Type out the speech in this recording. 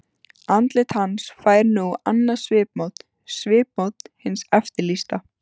Andlit hans fær nú annað svipmót- svipmót hins eftirlýsta.